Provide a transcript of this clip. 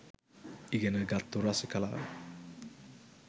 ඉගෙන ගත්තු රසිකලා